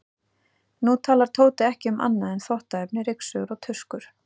Nú talar Tóti ekki um annað en þvottaefni, ryksugur og tuskur.